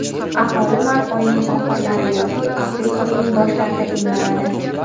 aholi mart oyining oxirlari yoki aprel oyining boshlarida emlanadi.